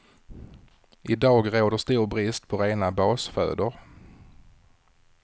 I dag råder stor brist på rena basfödor.